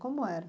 Como era?